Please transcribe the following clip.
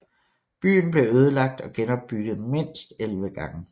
Byen blev ødelagt og genopbygget mindst 11 gange